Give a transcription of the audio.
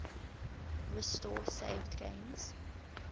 restore saved games